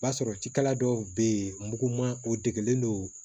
O b'a sɔrɔ cikɛla dɔw bɛ yen muguman o degelen don